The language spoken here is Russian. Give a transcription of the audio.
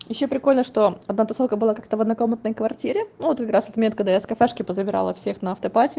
ещё прикольно что одна тусовка была как-то в однокомнатной квартире ну вот как раз в этот момент когда я с кафешки позабирала всех на автопати